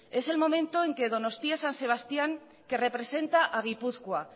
es el momento en el que donostia san sebastián que representa a gipuzkoa